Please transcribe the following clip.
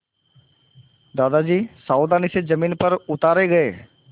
दादाजी सावधानी से ज़मीन पर उतारे गए